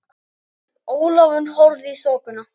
Ólafur horfði í þokuna.